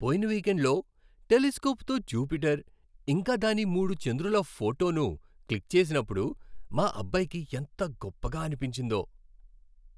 పోయిన వీకెండ్లో టెలిస్కోప్తో జూపిటర్, ఇంకా దాని మూడు చంద్రుల ఫోటోను క్లిక్ చేసినప్పుడు మా అబ్బాయికి ఎంత గొప్పగా అనిపించిందో.